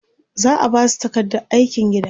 za'a Basu takardar aikin gida